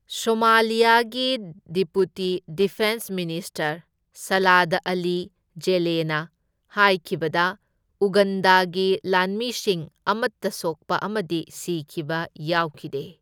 ꯁꯣꯃꯥꯂꯤꯌꯒꯤ deputy defence minister Salad Ali ꯖꯦꯂꯦꯅ ꯍꯥꯢꯈꯤꯕꯗ ꯎꯒꯟꯗꯥꯒꯤ ꯂꯥꯟꯃꯤꯁꯤꯡ ꯑꯃꯇ ꯁꯣꯛꯄ ꯑꯃꯗꯤ ꯁꯤꯈꯤꯕ ꯌꯥꯎꯈꯤꯗꯦ꯫